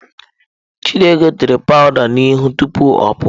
Chidigo tere powụda n'ihu tupu ọ pụọ.